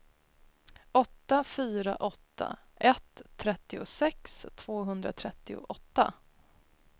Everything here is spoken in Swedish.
åtta fyra åtta ett trettiosex tvåhundratrettioåtta